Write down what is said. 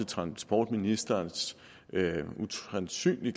transportministerens usandsynlig